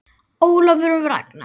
Ólafur Ragnar.